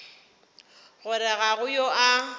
gore ga go yo a